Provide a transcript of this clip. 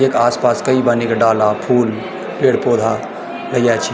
येका आस-पास कई बनी का डाला फूल पेड़-पोधा लग्यां छिं।